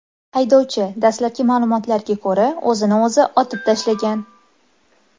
Haydovchi, dastlabki ma’lumotlarga ko‘ra, o‘zini o‘zi otib tashlagan.